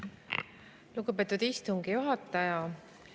Lugupeetud istungi juhataja!